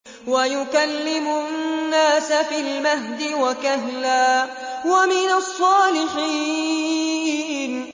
وَيُكَلِّمُ النَّاسَ فِي الْمَهْدِ وَكَهْلًا وَمِنَ الصَّالِحِينَ